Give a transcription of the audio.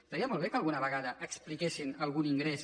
estaria molt bé que alguna vegada expliquessin algun ingrés